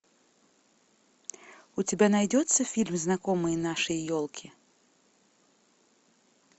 у тебя найдется фильм знакомые нашей елки